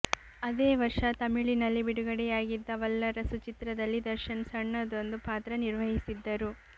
ಅದೇ ವರ್ಷ ತಮಿಳಿನಲ್ಲಿ ಬಿಡುಗಡೆಯಾಗಿದ್ದ ವಲ್ಲರಸು ಚಿತ್ರದಲ್ಲಿ ದರ್ಶನ್ ಸಣ್ಣದೊಂದು ಪಾತ್ರ ನಿರ್ವಹಿಸಿದ್ದರು